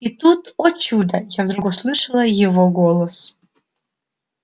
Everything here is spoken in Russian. и тут о чудо я вдруг услышала его голос